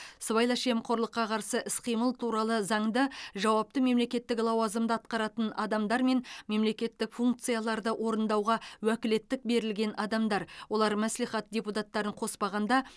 сыбайлас жемқорлыққа қарсы іс қимыл туралы заңда жауапты мемлекеттік лауазымды атқаратын адамдар мен мемлекеттік функцияларды орындауға уәкілеттік берілген адамдар олар мәслихат депутаттарын қоспағанда